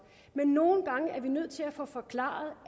men nogle gange er vi nødt til at få forklaret